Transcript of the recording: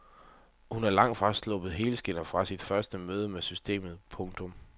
Hun er langtfra sluppet helskindet fra sit første møde med systemet. punktum